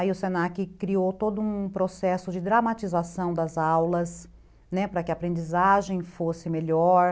Aí o se na que criou todo um processo de dramatização das aulas, né, para que a aprendizagem fosse melhor.